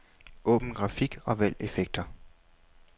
Åbn grafik og vælg effekter.